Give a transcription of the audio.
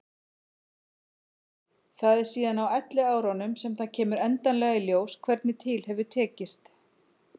Það er síðan á elliárunum sem það kemur endanlega í ljós hvernig til hefur tekist.